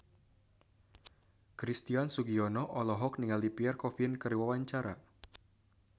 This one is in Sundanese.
Christian Sugiono olohok ningali Pierre Coffin keur diwawancara